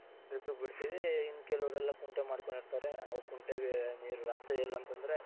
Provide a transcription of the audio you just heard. drip ಗ್ ಬಿಡ್ತಿವಿ ಇನ್ಕೆಲುವ್ರೆಲ್ಲಾ ಕುಂಟೆ ಮಾಡ್ಕೊಂಡಿರ್ತಾರೆ ಅವ್ರ್ ಕುಂಟೆಗೆ ನೀರು ರಾತ್ರಿ ಎಲ್ಲಾ ಅಂತoದ್ರೆ,